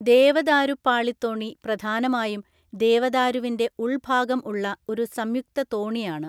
ദേവദാരുപ്പാളിത്തോണി പ്രധാനമായും ദേവദാരുവിന്‍റെ ഉള്‍ഭാഗം ഉള്ള ഒരു സംയുക്ത തോണിയാണ്.